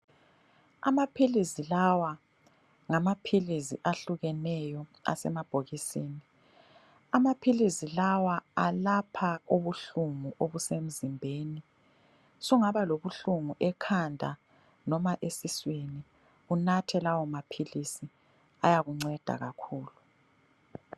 Amaphilisi lawa ngamaphilisi ahlukeneyo asemabhokisini. Amaphilisi lawa alapha ubuhlungu obusemzimbeni. Sungaba lobuhlungu ekhanda noma esiswini unathe lawo maphilisi ayakunceda kakhulu.